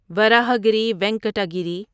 وراہاگری وینکٹا گیری